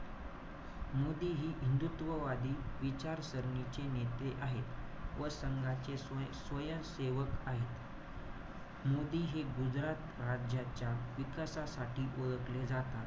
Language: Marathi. मोदी हे हिदूंत्ववादी विचारसरणीचे नेते आहे. व संघाचे स्व~ स्वयंसेवक आहे. मोदी हे गुजरात राज्याच्या विकासासाठी ओळखले जातात.